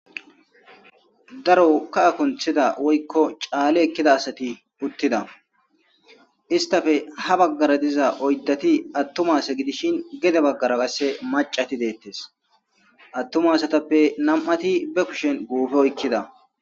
daro ka'a kunthida woykko caale ekkida asati puttida istafe ha baggara diza oyddati attuma se gidishin gede baggara kasse macati deettes attuma asatappe nam7ati be kushen guufe oykkida